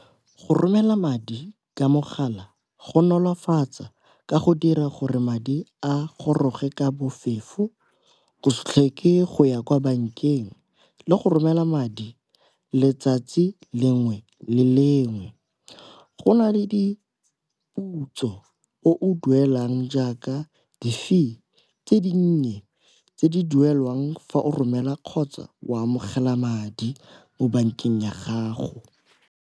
Go romela madi ka mogala go nolofatsa ka go dira gore madi a goroge ka bofefo, go se tlhoke go ya kwa bankeng le go romela madi letsatsi lengwe le lengwe. Go na le diputso o i duelang jaaka di-fee tse dinnye tse di duelwang fa o romela kgotsa o amogela madi mo bankeng ya gago.